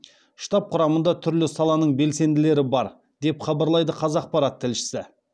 штаб құрамында түрлі саланың белсенділері бар деп хабарлайды қазақпарат тілшісі